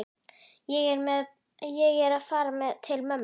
Ég er að fara til mömmu.